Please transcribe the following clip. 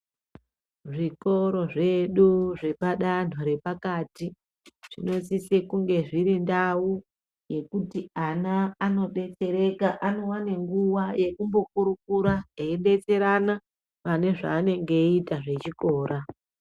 Zvikoro zvedu zvepadantho repakati zvinosise kunge zviri ndau yekuti ana anodetsereka anowane nguwa yekumbokurukura eibetserana pane zvaanenge eita zvechikora.